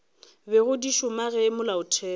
bego di šoma ge molaotheo